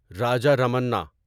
Raja Ramanna